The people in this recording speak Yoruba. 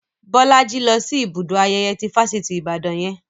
Bolaji lọ sí ibùdó ayẹyẹ ti Fáṣítì Ibadan yẹn